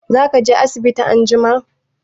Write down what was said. Za ka je asibiti anjima?